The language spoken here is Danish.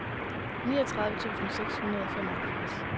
niogtredive tusind seks hundrede og femoghalvfjerds